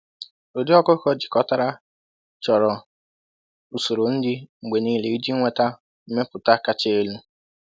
“Ụdị ọkụkọ jikọtara chọrọ usoro nri mgbe niile iji nweta mmepụta kacha elu.”